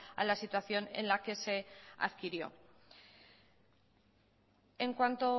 a la situación en la que se adquirió en cuanto